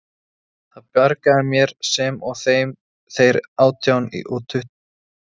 Það bjargaði mér, sem og þeir átján eða tuttugu Íslendingar sem þarna voru.